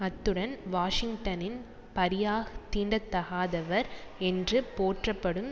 அத்துடன் வாஷிங்டனின் பரியாஹ் தீண்டதகாதவர் என்று போற்றப்படும்